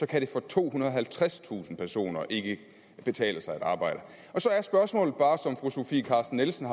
kan det for tohundrede og halvtredstusind personer ikke betale sig at arbejde så er spørgsmålet bare som fru sofie carsten nielsen